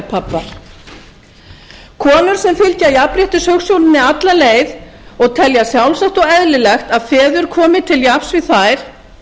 helgarpabbar konur sem fylgja jafnréttishugsjóninni alla leið og telja sjálfsagt og eðlilegt að feður komi til jafns við þær